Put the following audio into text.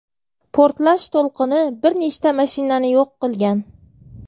Portlash to‘lqini bir nechta mashinani yo‘q qilgan.